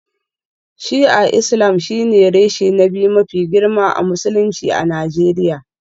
Shi'a Islam shine reshe na biyu mafi girma a Musulunci a Najeriya